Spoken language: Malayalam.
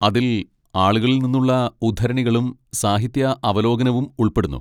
അതിൽ ആളുകളിൽ നിന്നുള്ള ഉദ്ധരണികളും സാഹിത്യ അവലോകനവും ഉൾപ്പെടുന്നു.